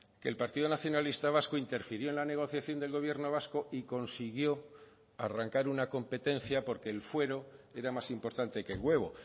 que el partido nacionalista vasco interfirió en la negociación del gobierno vasco y consiguió arrancar una competencia porque el fuero era más importante que el huevo